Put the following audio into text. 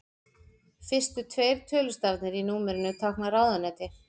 Fyrstu tveir tölustafirnir í númerinu tákna ráðuneyti.